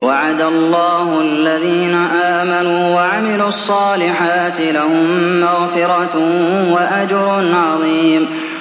وَعَدَ اللَّهُ الَّذِينَ آمَنُوا وَعَمِلُوا الصَّالِحَاتِ ۙ لَهُم مَّغْفِرَةٌ وَأَجْرٌ عَظِيمٌ